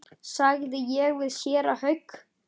sagði ég við séra Hauk.